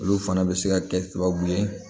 Olu fana bɛ se ka kɛ sababu ye